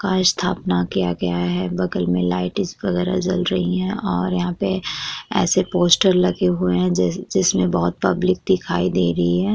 का स्थापना किया गया है बगल में लाइटस वगैरह जल रही हैं और यहाँ पे ऐसे पोस्टर लगे हुए हैं जैसे जिसमें बहुत पब्लिक दिखाई दे रही है।